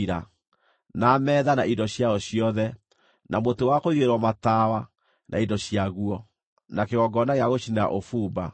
na metha na indo ciayo ciothe, na mũtĩ wa kũigĩrĩrwo matawa na indo ciaguo, na kĩgongona gĩa gũcinĩra ũbumba, na